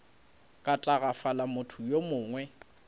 ka tagafala motho yo mongwe